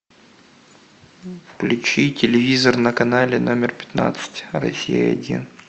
включи телевизор на канале номер пятнадцать россия один